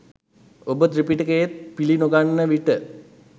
ඔබ ත්‍රිපිටකයත් පිලි නොගන්න විට.